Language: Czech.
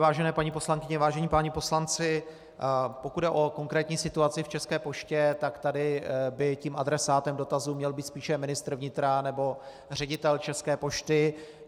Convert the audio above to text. Vážené paní poslankyně, vážení páni poslanci, pokud jde o konkrétní situaci v České poště, tak tady by tím adresátem dotazu měl být spíše ministr vnitra nebo ředitel České pošty.